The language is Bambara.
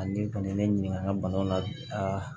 Ani kɔni ye ne ɲininka an ka banaw la